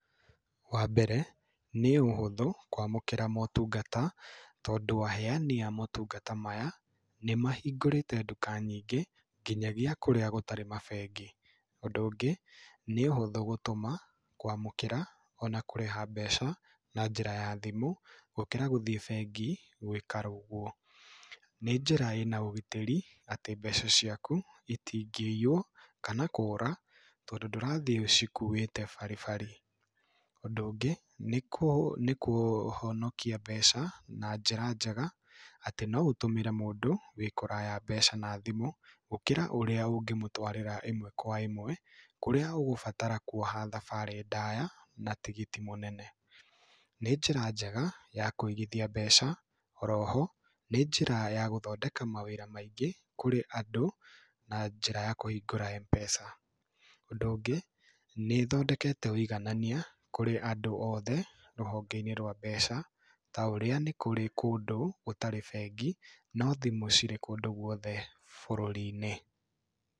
Wambere, nĩ ũhũthũ, kũamũkĩra motungata, tondũ aheyani a motungata maya, nĩmahingũrĩte nduka nyingĩ, nginyagia kũrĩa gũtarĩ mabengi. Ũndũ ũngĩ, nĩ ũhũthũ gũtũma, kũamũkĩra, na kũrĩha mbeca, na njĩra ya thimũ, gũkĩra gũthiĩ bengi, gũĩka ũguo. Nĩ njĩra ĩna ũgitĩri, atĩ mbeca ciaku itingĩiywo, kana kũũra, tondũ ndũrathiĩ ũcikuwĩte baribari. Ũndũ ũngĩ, nĩkũhonokia mbeca na njĩra njega, atĩ no ũtũmĩre mũndũ wĩkũraya mbeca na thimũ, gũkĩra ũrĩa ũngĩmũtwarĩra ĩmwe kwa ĩmwe, kũrĩa ũgũbatara kuoha thabarĩ ndaya, na tigiti mũnene. Nĩ njĩra njega ya kũigithia mbeca, oroho, nĩ njĩra njega ya gũthondeka mawĩra maingĩ kũrĩ andũ, na njĩra ya kũhingũra M-pesa. Ũndũ ũngĩ, nĩ ĩthondekete ũiganania kũrĩ andũ othe, rũhonge-inĩ rwa mbeca, taũrĩa nĩkũrĩ kũndũ gũtarĩ bengi, nothimũ ciĩkũndũ guothe bũrũri-inĩ.